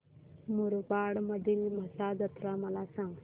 मुरबाड मधील म्हसा जत्रा मला सांग